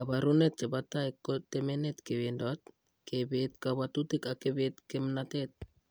Kaabarunet chepo tai ko temenet kewendot, kebeet kabwatutik ak kebet kimnateet.